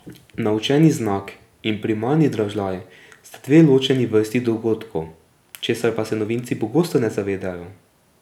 Naučeni znak in primarni dražljaj sta dve ločeni vrsti dogodkov, česar pa se novinci pogosto ne zavedajo.